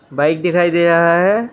Bike दिखाई दे रहा है।